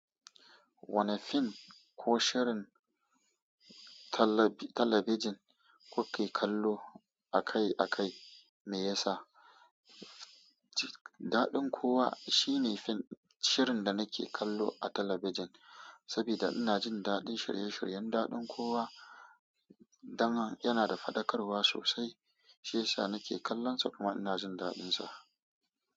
Wanne fim ko shirin talabijin kuke kallo akai-akai, me yasa? Daɗin kowa shine shirin da nake kallo a talabijin, saboda ina jin daɗin shirye-shiryen daɗin kowa. Dan yana da faɗakarwa sosai, shiyasa nake kallonsa kuma ina jin daɗinsa.